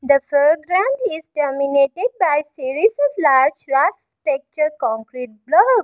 the foreground is dominated by series of large texture concrete block.